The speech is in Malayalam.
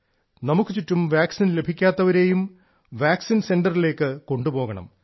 നമുക്കുചുറ്റും വാക്സിൻ ലഭിക്കാത്തവരെയും വാക്സിൻ സെന്ററിലേക്ക് കൊണ്ടുപോകണം